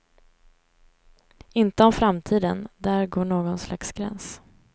Inte om framtiden, där går någon slags gräns.